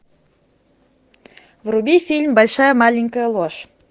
вруби фильм большая маленькая ложь